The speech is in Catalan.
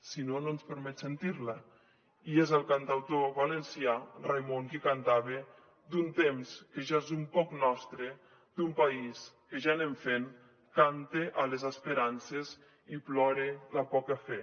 si no no ens permet sentir la i és el cantautor valencià raimon qui cantava d’un temps que ja és un poc nostre d’un país que ja anem fent cante a les esperances i plore la poca fe